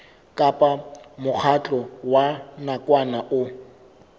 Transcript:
kapa mokgatlo wa nakwana o